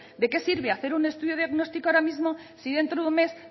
de qué sirve hacer un estudio diagnóstico ahora mismo si dentro de un mes